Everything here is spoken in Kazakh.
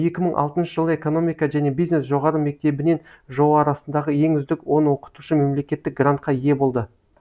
екі мың алтыншы жылы экономика және бизнес жоғары мектебінен жоо арасындағы ең үздік он оқытушы мемлекеттік грантқа ие болды